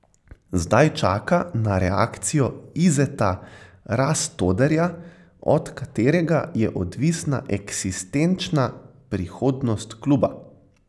Zdaj čaka na reakcijo Izeta Rastoderja, od katerega je odvisna eksistenčna prihodnost kluba.